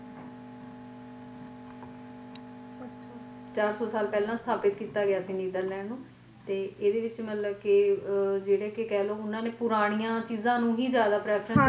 ਚਾਰ ਸੋ ਸਾਲ ਪਹਿਲਾ ਸਥਾਪਿਤ ਕੀਤਾ ਗਿਆ ਸੀ ਨੀਦਰਲੈਂਡ ਨੂੰ ਤੇ ਇਹਦੇ ਵਿੱਚ ਮਤਲਬ ਕਿ ਕਹਿਲੋ ਆ ਜਿਹੜੇ ਕਿ ਪੁਰਾਣੀਆਂ ਚੀਜ਼ ਨੂੰ ਹੀ prefer ਕੀਤਾ।